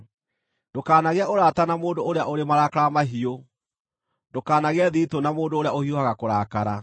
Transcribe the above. Ndũkanagĩe ũrata na mũndũ ũrĩa ũrĩ marakara mahiũ, ndũkanagĩe thiritũ na mũndũ ũrĩa ũhiũhaga kũrakara,